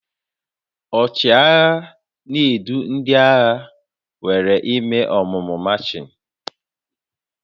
Ọchịagha na-edu ndị agha were eme ọmụmụ machịn